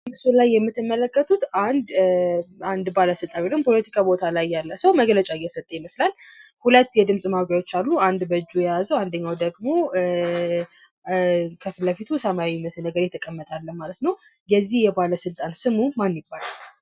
በምስሉ ላይ የምተመለከቱት አንድ አንድ ስልጣን ወይ ደግሞ ፖለቲካ ቦታ ላይ ያለ ሰው መግለጫ እየሰጠ ይመስላል። ሁለት የድምጽ ማጉያዎች አሉ። አንድ በጁ የያዘው አንደኛው ደግሞ ኧ ከፊት ላይ ፊቱ ሰማያዊ መስል ነገር የተቀመጠ አለ ማለት ነው። የዚህ ልጣን ስሙ ማን ይባላል?